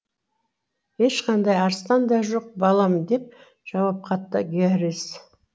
ешқандай арыстан да жоқ балам деп жауап қатты гэррис